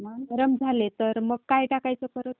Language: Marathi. नरम झाले तर मग काय टाकायचं परत?